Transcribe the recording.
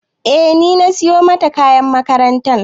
E ni na siyo mata kayan makaranta